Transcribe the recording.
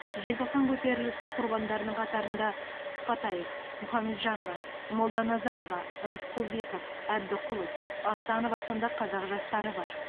желтоқсан көтерілісі құрбандарының қатарында сыпатаев мұхамеджанова молданазарова рысқұлбеков әбдіқұлов асанова сынды қазақ жастары бар